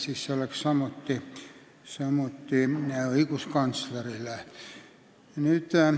See oleks samuti ülesanne õiguskantslerile.